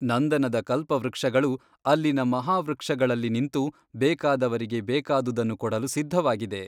ನಂದನದ ಕಲ್ಪವೃಕ್ಷಗಳು ಅಲ್ಲಿನ ಮಹಾವೃಕ್ಷಗಳಲ್ಲಿ ನಿಂತು ಬೇಕಾದವರಿಗೆ ಬೇಕಾದುದನ್ನು ಕೊಡಲು ಸಿದ್ಧವಾಗಿದೆ.